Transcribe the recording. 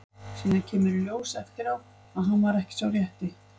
Síðan kemur í ljós eftir á að hann var ekki sá rétti.